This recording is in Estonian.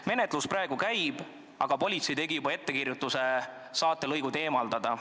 Menetlus praegu käib, aga politsei tegi juba ettekirjutuse saatelõigud eemaldada.